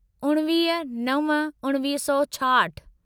उणिवीह नव उणिवीह सौ छाहठि